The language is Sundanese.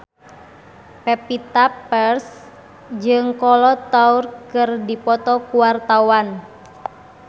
Pevita Pearce jeung Kolo Taure keur dipoto ku wartawan